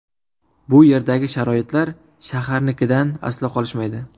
Bu yerdagi sharoitlar shaharnikidan aslo qolishmaydi.